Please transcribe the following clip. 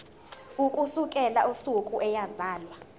ukusukela usuku eyazalwa